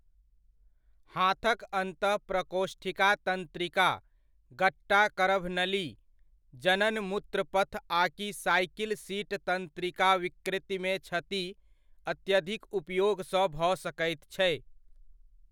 हाथक अन्तः प्रकोष्ठिका तन्त्रिका, गट्टा करभ नली, जनन मूत्र पथ आकि साइकिल सीट तंत्रिकाविकृतिमे क्षति अत्यधिक उपयोगसँ भऽ सकैत छै।